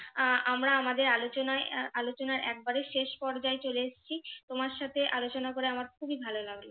আহ আমরা আমাদের আলোচনায় আলোচনার একবারে শেষ পর্যায়ে চলে এসছি তোমার সাথে আলোচনা করে আমার খুবই ভালো লাগলো।